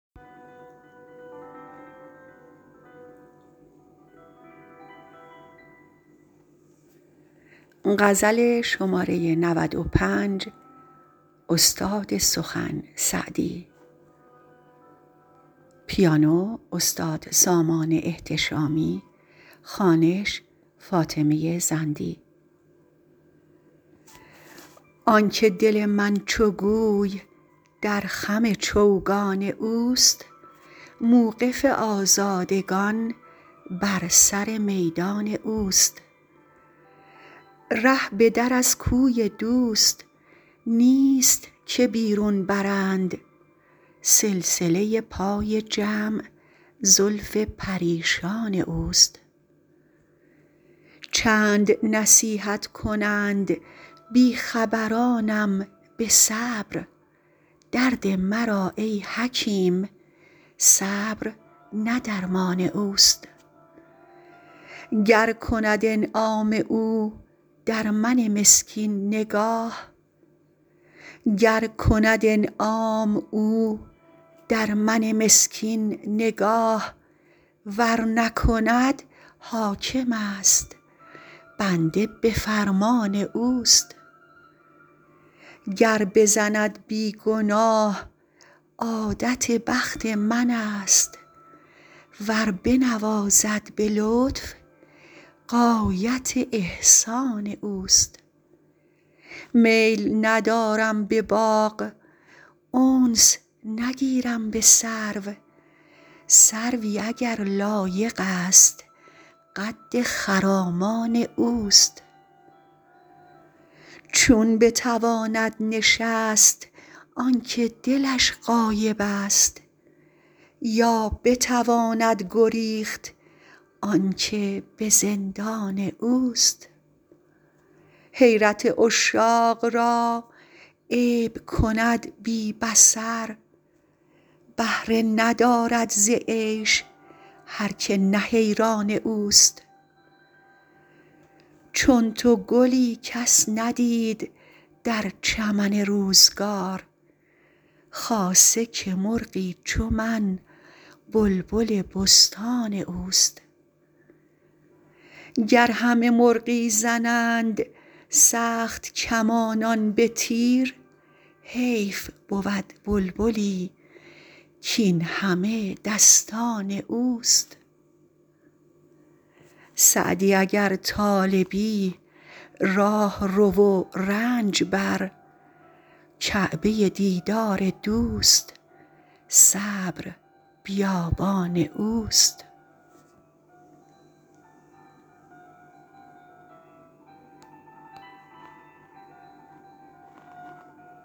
آن که دل من چو گوی در خم چوگان اوست موقف آزادگان بر سر میدان اوست ره به در از کوی دوست نیست که بیرون برند سلسله پای جمع زلف پریشان اوست چند نصیحت کنند بی خبرانم به صبر درد مرا ای حکیم صبر نه درمان اوست گر کند انعام او در من مسکین نگاه ور نکند حاکمست بنده به فرمان اوست گر بزند بی گناه عادت بخت منست ور بنوازد به لطف غایت احسان اوست میل ندارم به باغ انس نگیرم به سرو سروی اگر لایقست قد خرامان اوست چون بتواند نشست آن که دلش غایبست یا بتواند گریخت آن که به زندان اوست حیرت عشاق را عیب کند بی بصر بهره ندارد ز عیش هر که نه حیران اوست چون تو گلی کس ندید در چمن روزگار خاصه که مرغی چو من بلبل بستان اوست گر همه مرغی زنند سخت کمانان به تیر حیف بود بلبلی کاین همه دستان اوست سعدی اگر طالبی راه رو و رنج بر کعبه دیدار دوست صبر بیابان اوست